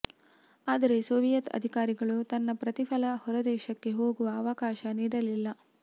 ಆದರೆ ಸೋವಿಯೆತ್ ಅಧಿಕಾರಿಗಳು ತನ್ನ ಪ್ರತಿಫಲ ಹೊರದೇಶಕ್ಕೆ ಹೋಗುವ ಅವಕಾಶ ನೀಡಲಿಲ್ಲ